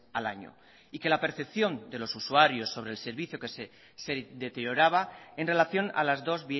al año y que la percepción de los usuarios sobre el servicio que se deterioraba en relación a las dos